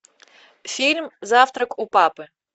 фильм завтрак у папы